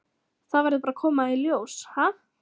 Það verður bara að koma í ljós, ha?